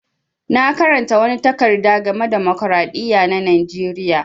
Na karanta wani takarda game da dimokiradiyya na Najeriya.